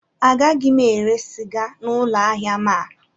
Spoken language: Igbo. Agaghị m ere sịga n'ụlọ ahịa m a